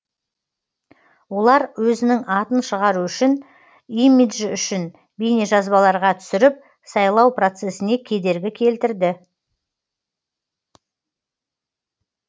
олар өзінің атын шығару үшін имиджі үшін бейнежазбаларға түсіріп сайлау процесіне кедергі келтірді